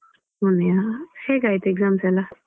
ಮೊನ್ನೆಯಾ ಹೇಗಾಯ್ತು exam ಎಲ್ಲ.